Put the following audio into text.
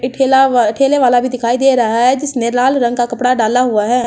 एक ठेला वा है ठेले वाला भी दिखाई दे रहा है जिसने लाल रंग का कपड़ा डाला हुआ है।